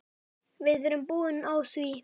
Við erum búin á því.